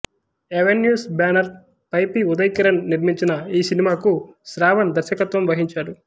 avenues banner పై P Uday Kiran నిర్మించిన ఈ సినిమాకు శ్రావణ్ దర్శకత్వం వహించాడు